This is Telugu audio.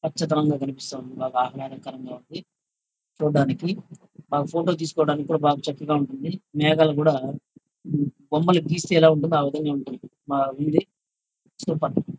పచ్చదనం గా కనిపిస్తా ఉంది. బాగా ఆహ్లదకరం గా ఉంది. చూడ్డానికి బాగా ఫోటో తీసుకోడానికి కూడా బాగా చక్కగా ఉంటుంది. మేఘాలు కూడా బొమ్మలు గిస్తే ఎలా ఉంటుందో ఆ విధంగా ఉంటుంది ఆ ఉంది. సూపర్ .